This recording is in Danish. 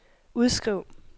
udskriv